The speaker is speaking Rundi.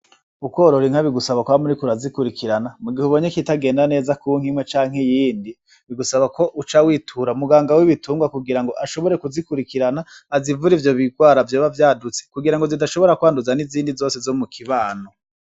Ukworora inka bigusaba kwama uriko urazikurikirana , mu gih'ubonye ikitagenda neza ku nk'imwe canke iyindi bigusaba ko uca witura muganga w'ibitunrwa kugira ngo ashobore kuzikurikirana azivur'ivyo birwara biba vyadutse kugira ngo zidashobora kwanduza n'izindi zose Zo mu kibano.